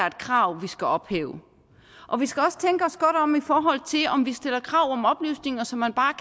et krav vi skal ophæve og vi skal også tænke os godt om i forhold til om vi stiller krav om oplysninger som man bare